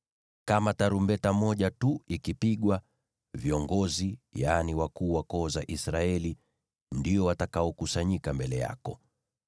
Kama tarumbeta moja tu ikipigwa, viongozi, yaani wakuu wa koo za Israeli, ndio watakaokusanyika mbele yako.